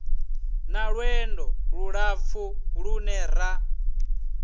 na lwendo lulapfu lune ra